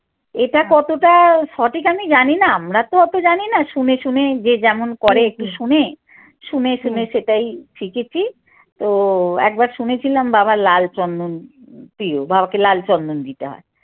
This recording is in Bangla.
এটা কতটা সঠিক আমি জানিনা আমরা তো অত জানিনা শুনে শুন যে যেমন করে একটু শুনে শুনে শুনে সেটাই শিখেছি তো একবার শুনেছিলাম বাবা লাল চন্দন প্রিয় বাবাকে লাল চন্দন দিতে হয়।